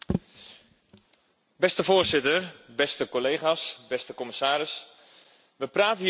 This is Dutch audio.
We praten hier altijd over problemen, maar één van de grotere oorzaken daarvan is vaak de politiek zelf.